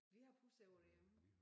Vi har pusser på derhjemme